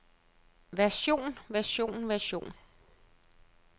version version version